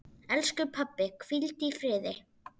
Elsku pabbi, hvíldu í friði.